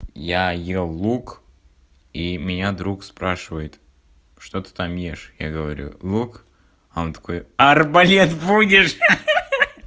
я ел лук и меня друг спрашивает что ты там ешь я говорю лук а он такой арбалет будешь ха-ха